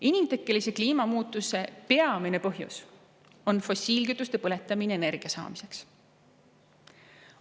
Inimtekkelise kliimamuutuse peamine põhjus on fossiilkütuste põletamine energia saamiseks.